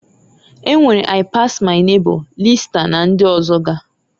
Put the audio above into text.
E nwere I-pass-my neighbor, lista, na ndị ọzọga.